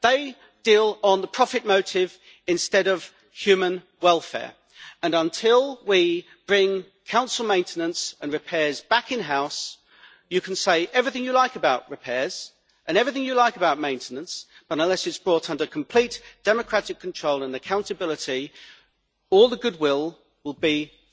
They deal on the profit motive instead of human welfare, and until we bring council maintenance and repairs back in house, you can say everything you like about repairs and everything you like about maintenance, but unless it is brought under complete democratic control and accountability then all the goodwill will be for nothing.